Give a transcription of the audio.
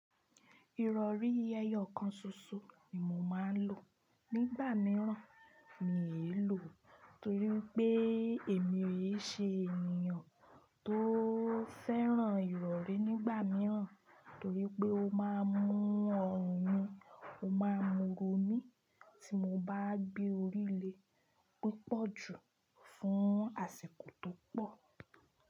Ìrọ̀rí eyọ kan ṣoṣo ni mo máa ń lò nígbà mìíràn mi i lò tó rí pé èmi ò ṣe ènìyàn tó fẹ́ràn ìrọ̀rí nígbà mìíràn torí pé ó máa ń mú ọrùn mi, ó máa ń mú ro mí tí mo bá gbé orí lé e púpọ̀ jù fún àsìkò tó pọ̀.